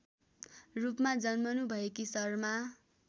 रूपमा जन्मनुभएकी शर्मा